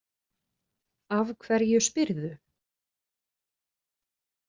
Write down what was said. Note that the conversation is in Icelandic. Af hverju spyrðu?